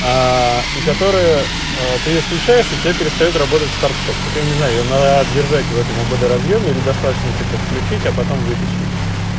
и которая ты её включаешь у тебя перестаёт работать старт-стоп только я не знаю её надо держать в этом ободоразъёме или достаточно типа включить а потом вытащить